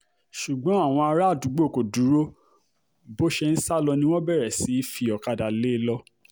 ṣùgbọ́n àwọn aráàdúńgbò kò dúró bó ṣe ń sá lọ ni wọ́n bẹ̀rẹ̀ sí í fi ọ̀kadà lé e lọ